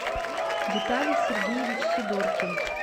виталий сергеевич сидоркин